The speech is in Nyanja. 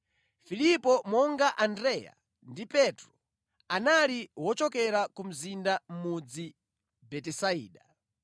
Filipo monga Andreya ndi Petro, anali wochokera ku mzinda mudzi Betisaida.